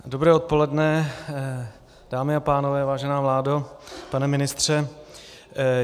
Dobré odpoledne, dámy a pánové, vážená vládo, pane ministře.